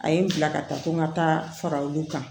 A ye n bila ka taa ko n ka taa fara olu kan